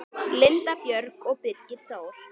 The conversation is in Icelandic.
Linda Björg og Birgir Þór.